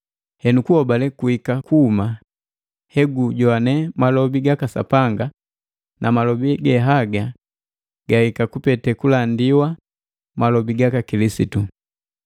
Henu kuhobale kuhika kuhuma he gujowane malobi gaka Sapanga, na malobi gehaga gahika kupete kulandiwa malobi gaka Kilisitu.